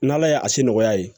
N' ala ye a si nɔgɔya ye